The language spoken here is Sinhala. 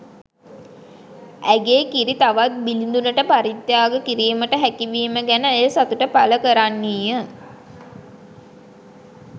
ඇගේ කිරි තවත් බිළිදුනට පරිත්‍යාග කිරීමට හැකි වීම ගැන ඇය සතුට පළ කරන්නීය.